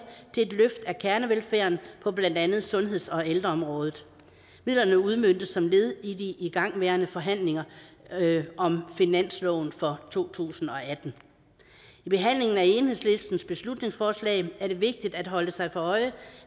til et løft af kernevelfærden på blandt andet sundheds og ældreområdet midlerne udmøntes som led i de igangværende forhandlinger om finansloven for to tusind og atten i behandlingen af enhedslistens beslutningsforslag er det vigtigt at holde sig for øje